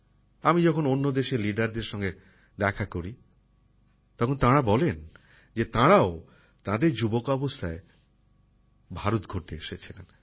আমি যখন অন্য দেশের লিডারদের সঙ্গে দেখা করি তখন তারা বলেন যে তারাও তাদের যুবাবস্থায় ভারত ঘুরতে এসেছিলেন